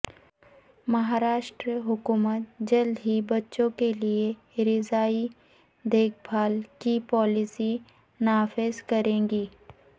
مہارشٹرا حکومت جلد ہی بچوں کے لئے رضاعی دیکھ بھال کی پالیسی نافذ کرے گی